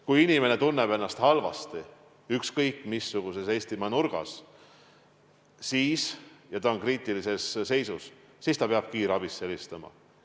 Kui inimene – ükskõik missuguses Eestimaa nurgas – tunneb ennast halvasti ja on kriitilises seisus, siis ta peab kiirabisse helistama.